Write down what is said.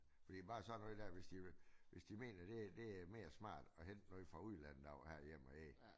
Fordi bare sådan noget der hvis de hvis de mener det det mere smart at hente noget fra udlandet over herhjemaf ikke